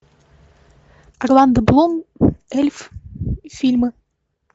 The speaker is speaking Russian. орландо блум эльф фильмы